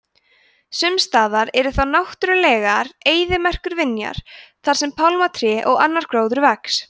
sumstaðar eru þó náttúrulegar eyðimerkurvinjar þar sem pálmatré og annar gróður vex